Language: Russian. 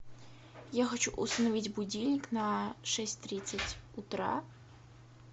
я хочу установить будильник на шесть тридцать утра